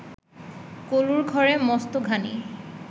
কলুর ঘরে মস্ত ঘানি